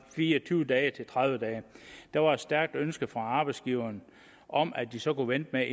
fire og tyve dage til tredive dage der var et stærkt ønske fra arbejdsgiverne om at de så kunne vente